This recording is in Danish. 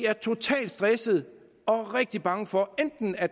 er totalt stresset og rigtig bange for enten at